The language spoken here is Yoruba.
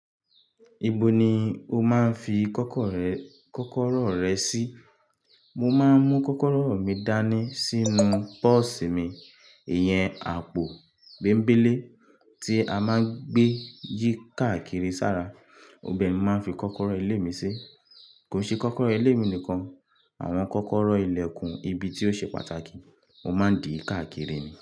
Ibo ni o máa ń fi kọ́kọ́rọ́ rẹ sí? Mo máa ń mú kọ́kọ́rọ́ mi dání sínú pọ́ọ̀sì mi, ìyẹn àpò bèmbélé tí a máa ń gbé yí káàkiri sára, ibẹ̀ mo máa ń fi kọ́kọ́rọ́ ilé mi sí. Kò n ṣe kọ́kọ́rọ́ ilé mi nìkan, àwọn kọ́kọ́rọ́ ilẹ̀kùn, ibi tí ó ṣe pàtàkì, mo máa ń dì káàkiri ni.